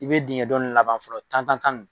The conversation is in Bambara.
I bɛ dingɛ dɔ ninnu laban fɔlɔ tan tan tan.